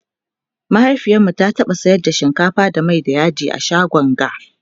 mahaifiyarmu ta taɓa sayar da shinkafa da Mai da yaji a shagon ga